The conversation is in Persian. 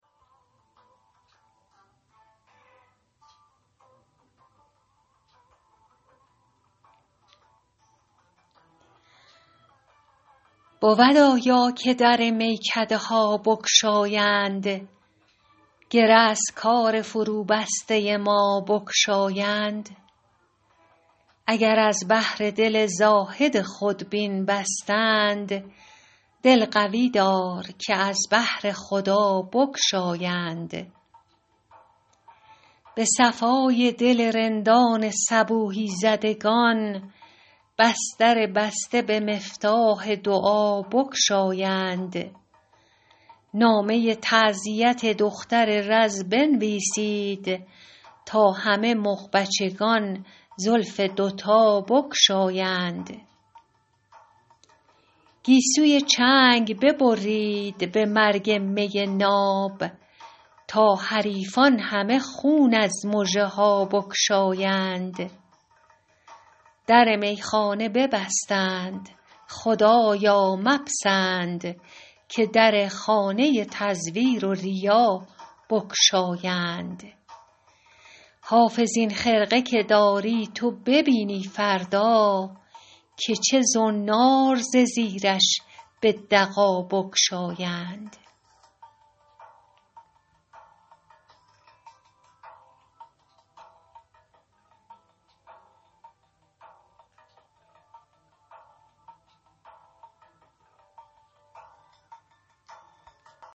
بود آیا که در میکده ها بگشایند گره از کار فروبسته ما بگشایند اگر از بهر دل زاهد خودبین بستند دل قوی دار که از بهر خدا بگشایند به صفای دل رندان صبوحی زدگان بس در بسته به مفتاح دعا بگشایند نامه تعزیت دختر رز بنویسید تا همه مغبچگان زلف دوتا بگشایند گیسوی چنگ ببرید به مرگ می ناب تا حریفان همه خون از مژه ها بگشایند در میخانه ببستند خدایا مپسند که در خانه تزویر و ریا بگشایند حافظ این خرقه که داری تو ببینی فردا که چه زنار ز زیرش به دغا بگشایند